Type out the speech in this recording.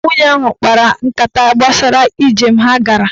Dị na nwunye ahụ kpara nkata gbasara ijem ha gara.